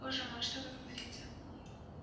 боже мой что вы говорите